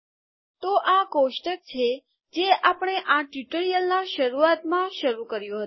તો આ કોષ્ટક છે જે આપણે આ ટ્યુટોરીયલના શરૂઆતમાં શરૂ કર્યું હતું